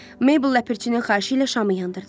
Meybl Ləpirçinin xahişi ilə şamı yandırdı.